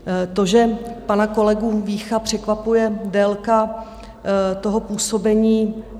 To, že pana kolegu Vícha překvapuje délka toho působení?